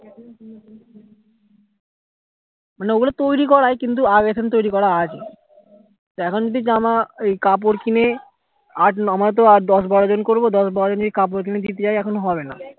মানে ওগুলো তৈরী করাই কিন্তু আগের থেকে তৈরী করা আছে তা এখন যদি জামা কাপড় কিনে আমাদের তো দশ বারো জন করবো দশ বারো জনের কাপড় কিনে দিতে যাই এখন হবে না